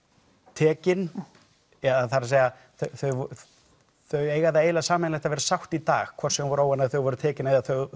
tekin eða þar að segja þau eiga það eiginlega sameiginlegt að vera sátt í dag hvort sem þau voru óánægð þegar þau voru tekin